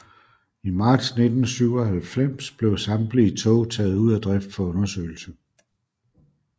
I marts 1997 blev samtlige tog taget ud af drift for undersøgelse